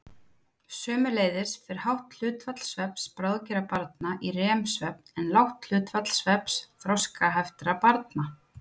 Sömuleiðis fer hátt hlutfall svefns bráðgerra barna í REM-svefn en lágt hlutfall svefns þroskaheftra barna.